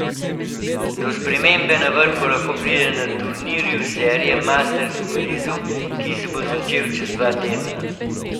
Do spremembe na vrhu lahko pride na turnirju serije masters v Parizu, ki se bo začel čez dva tedna.